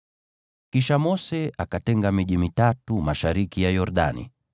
Kisha Mose akatenga miji mitatu mashariki ya Yordani,